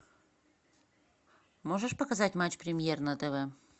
можешь показать матч премьер на тв